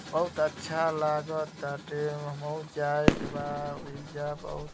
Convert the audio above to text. बहुत अच्छा लगताटे हमऊ जाए के बा। ओइजा बहुत --